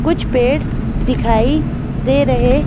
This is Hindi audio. कुछ पेड़ दिखाई दे रहेव् --